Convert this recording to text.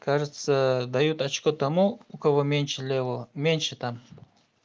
кажется дают очко тому у кого меньше левого меньше там